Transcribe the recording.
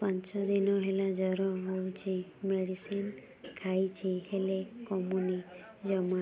ପାଞ୍ଚ ଦିନ ହେଲା ଜର ହଉଛି ମେଡିସିନ ଖାଇଛି ହେଲେ କମୁନି ଜମା